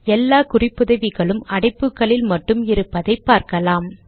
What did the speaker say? எல்லா குறிப்புதவிகளும் அடைப்புகளில் மட்டும் இருப்பதை பார்க்கலாம்